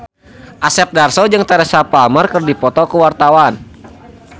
Asep Darso jeung Teresa Palmer keur dipoto ku wartawan